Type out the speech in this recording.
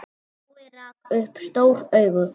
Jói rak upp stór augu.